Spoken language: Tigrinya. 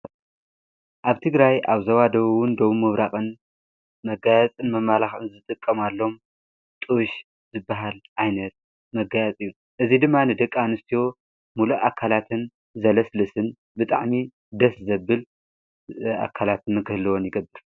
ኣብ ትግራይ ኣብ ዘዋደዉውን ደዉም ምብራቐን መጋያጽን መማላኽን ዝጥቀም ኣሎም ጥሽ ዝበሃል ኣይነት መጋያጽ እዩን እዙይ ድማ ንደቃ ንስትዎ ሙሉእ ኣካላትን ዘለስልስን ብጣዕኒ ደስ ዘብል ኣካላትን ክህልወን ይገብር፡፡